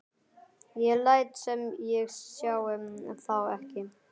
Ég læt sem ég sjái þá ekki.